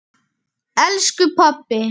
Elsku pabbi!